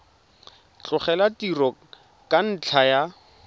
tlogela tiro ka ntlha ya